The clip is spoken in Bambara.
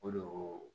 O de